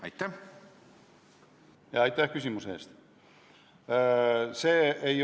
Aitäh küsimuse eest!